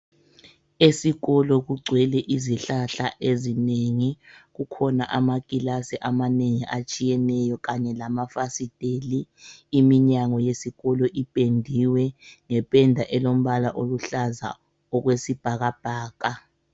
Esikolo kugcwele izihlahla ezinengi, kukhona amakilasi amanengi atshiyeneyo kanye lamafasiteli, iminyango yesikolo ipendiwe ngependa elombala oluhlaza okwesibhakabhaka.